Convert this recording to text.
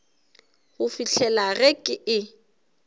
go fihlela ge ke e